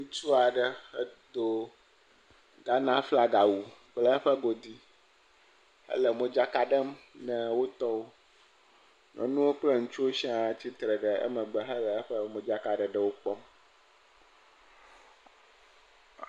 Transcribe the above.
Ŋutsu aɖe etɔ Ghana flaga wu kple eƒe godi, ele modzaka ɖem na etɔwom nyɔnuwo kple ŋutsuwo sia tsi atsitre ɖe emegbe le eƒe modzakaɖeɖewo kpɔm